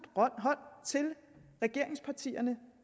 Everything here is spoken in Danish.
hånd til regeringspartierne